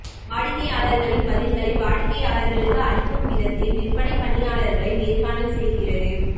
வாடிக்கையாளர்களின் பதில்களை வாடிக்கையாளர்களுக்கு அளிக்கும் விதத்தில் விற்பனை பணியாளர்களை நேர்காணல் செய்கிறது